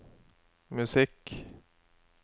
musikk